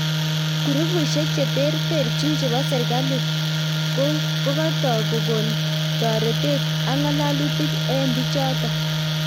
kurupisiek che tertechin chepo serikali kokotik kokon toretet ak ngalatunik eng pichotok